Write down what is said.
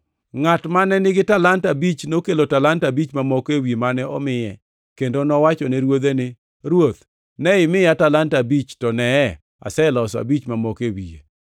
Ngʼat mane nigi talanta abich nokelo talanta abich mamoko ewi mane omiye, kendo nowachone ruodhe ni, ‘Ruoth, ne imiya talanta abich, to neye, aseloso abich mamoko e wiye.’